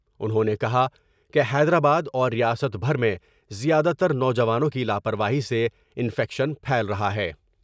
انہوں نے کہا کہ حیدرآ با داور ریاست بھر میں زیادہ تر نوجوانوں کی لا پرواہی سے انفیکشن پھیل رہا ہے ۔